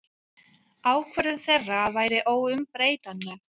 Ákvörðun þeirra væri óumbreytanleg.